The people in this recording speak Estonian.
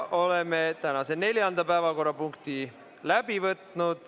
Oleme tänase neljanda päevakorrapunkti läbi vaadanud.